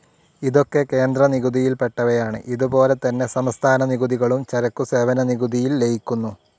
ഇതൊക്ക കേന്ദ്ര നികുതിയിൽ പെട്ടവയാണ്, ഇതുപോലെ തന്നെ സംസ്ഥാന നികുതികളും ചരക്കുസേവന നികുതിയിൽ ലയിക്കുന്നു.